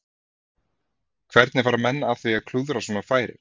Hvernig fara menn að því að klúðra svona færi?